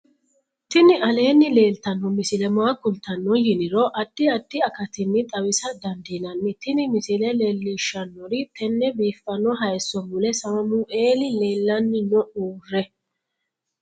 tini aleenni leeltanno misile maa kultanno yiniro addi addi akatinni xawisa dandiinnanni tin misile leellishshannori tenne biiffanno hayso mule samueeli leellanni no uurre